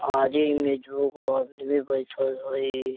आजे में जू गो आदमी बैठल हेय।